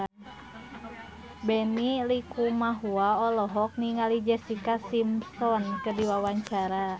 Benny Likumahua olohok ningali Jessica Simpson keur diwawancara